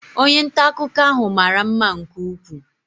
Onye nta akụkọ ahụ mara mma nke ukwuu.